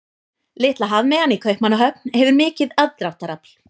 Litla hafmeyjan í Kaupmannahöfn hefur mikið aðdráttarafl.